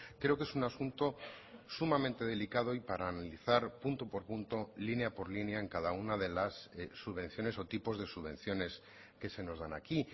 creo que es un asunto sumamente delicado y para analizar punto por punto línea por línea en cada una de las subvenciones o tipos de subvenciones que se nos dan aquí